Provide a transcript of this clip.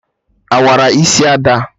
Awara isi Ada